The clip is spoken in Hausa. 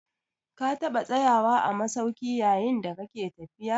Ka taɓa tsayawa a masauki yayin da kake tafiya?